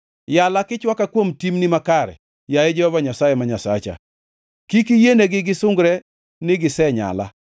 Yala kichwaka kuom timni makare, yaye Jehova Nyasaye ma Nyasacha; kik iyienegi gisungre ni gisenyala.